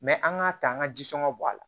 an k'a ta an ka jɔngɔ bɔ a la